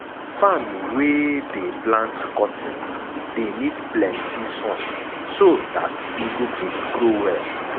farm wey dey plant cotton dey need plenty sun so dat e fit grow well.